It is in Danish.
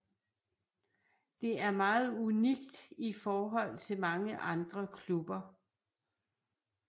Det er meget unikt i forhold til mange andre klubber